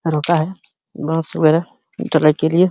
रोता है बहोत सवेरे ढलाई के लिए --